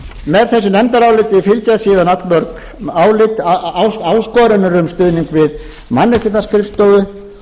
með þessu nefndaráliti fylgja síðan allmörg álit áskorunar um stuðning við mannréttindaskrifstofu